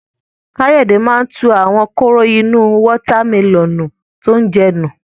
Káyọ̀dé máa tu àwọn kóró inú wọ́tá mẹlọ̀nù tí ó ń jẹ nù.